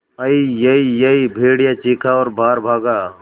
अईयईयई भेड़िया चीखा और बाहर भागा